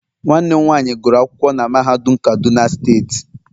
nwanne m nwanyi guru akwukwo na mahadum kaduna steeti